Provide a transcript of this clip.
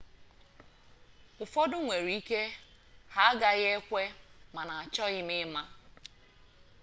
ụfọdụ nwere ike ha agaghị ekwe mana achoghị m ịma